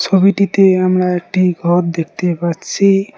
ছবিটিতে আমরা একটি ঘর দেখতে পাচ্ছি।